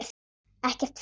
Ekkert frekar.